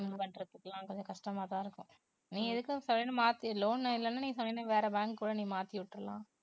இவங்க பண்றதுகெல்லாம் கொஞ்சம் கஷ்டமா தான் இருக்கும். நீ எதுக்கும் மாத்து loan இல்லேன்னா நீ வேற bank கூட மாத்திவிட்டுடலாம்